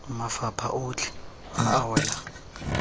mafapha otlhe a a welang